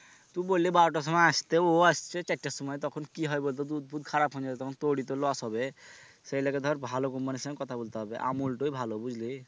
তু বললি বারোটার সময় আসতে ও আসছে চারটার সময় তখন কি হবে বলতো দুধ পুধ খারাপ হোন যাবে তখন তোরই তো loss হবে সেই লিগে ধর ভালো company ইর সঙ্গে কথা বলতে হবে আমুল টোই ভালো বুঝলি?